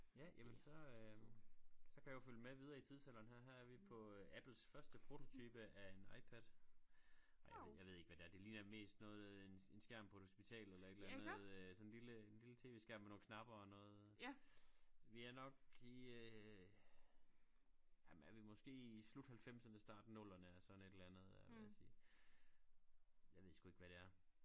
Ja jamen så øh så kan jeg jo følge med videre i tidsalderen her her er vi på Apples første prototype af en Ipad ej jeg ved ikke hvad det er det ligner mest noget en en skærm på et hospital eller et eller andet øh sådan lille en lille TV skærm med nogle knapper og noget vi er nok i øh ah men er vi måske i slut halvfemserne start nullerne sådan et eller andet vil jeg sige jeg ved sgu ikke hvad det er